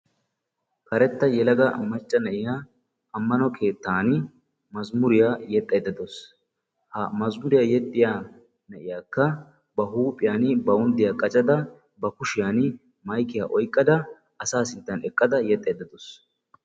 Karetta yelaga macca na'iyaa ammano keettan mazimuriyaa yeexxaydda de'awus; ha mazimuriyaa yeexxiya na'iyaakka ba huuphiyaan bawunddiyaa qaccada ba kushiyaan maykkiyaa oyqqada asaa sinttan yexxaydda dawus.